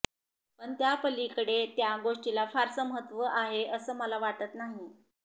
पण त्यापलीकडे त्या गोष्टीला फारसं महत्त्व आहे असं मला वाटत नाही